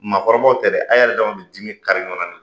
Maakɔrɔbaw tɛ dɛ, a yɛrɛ dama be dimi kari ɲɔgɔn na ni